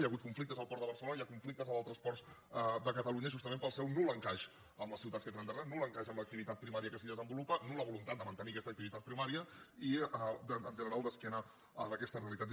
hi ha hagut conflictes al port de barcelona i hi ha conflictes a d’altres ports de catalunya justament pel seu nul encaix amb les ciutats que tenen darrere nul encaix amb l’activitat primària que s’hi desenvolupa nulla voluntat de mantenir aquesta activitat primària i en general d’esquena en aquestes realitats